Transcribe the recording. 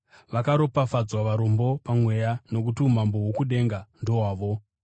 “Vakaropafadzwa varombo pamweya, nokuti umambo hwokudenga ndohwavo.